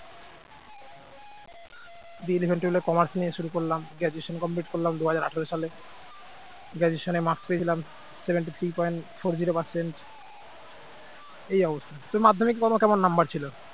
দিয়ে eleven twelve commerce নিয়ে শুরু করলাম graduation complete করলাম দুই হাজার আঠার সালে graduation marks পেয়েছিলাম seventy three point four zero percent এই অবস্থা তো মাধ্যমিকের তোমার কেমন number ছিল